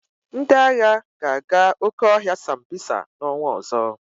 Ndị agha ga-aga oke ọhịa Sambisa n'ọnwa ọzọ.